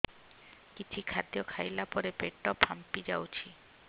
କିଛି ଖାଦ୍ୟ ଖାଇଲା ପରେ ପେଟ ଫାମ୍ପି ଯାଉଛି